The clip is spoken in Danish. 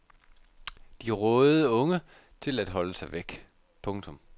De rådede unge til at holde sig væk. punktum